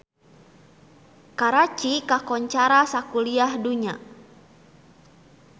Karachi kakoncara sakuliah dunya